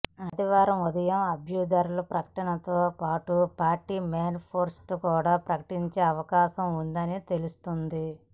ఆదివారం ఉదయం అభ్యర్థుల ప్రకటనతో పాటు పార్టీ మేనిఫెస్టో కూడా ప్రకటించే అవకాశం ఉందని తెలుస్తోంది